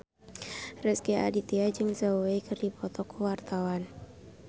Rezky Aditya jeung Zhao Wei keur dipoto ku wartawan